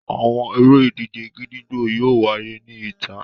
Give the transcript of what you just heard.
Àwọn ere-idije gídígbò yóò wáyé ní ìta.